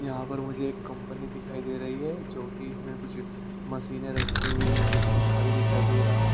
यहां पर मुझे एक कंपनी दिखाई दे रही है जो कि इसमें कुछ मशीनें रखी हुई है एक पंखा भी दिखाई दे रहा है।